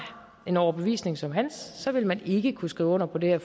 en overbevisning som hans vil man ikke kunne skrive under på det her